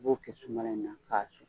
I b'o kɛ sunbala in na ka su